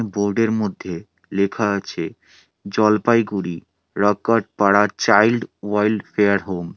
Board -এর মধ্যে লেখা আছে জলপাইগুড়ি রাকাট পাড়া চাইল্ড ওয়াইলডফেয়ার হোম ।